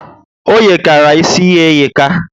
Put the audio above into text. O yekara ísì ya eyeka